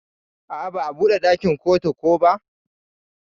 A'a ba'a buɗe dakin kotu ko ba.